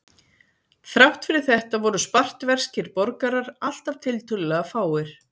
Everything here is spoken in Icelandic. Þrátt fyrir þetta voru spartverskir borgarar alltaf tiltölulega fáir.